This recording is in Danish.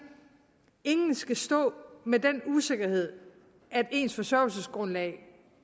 ingen skal stå med den usikkerhed at ens forsørgelsesgrundlag